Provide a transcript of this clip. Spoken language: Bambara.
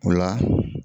O la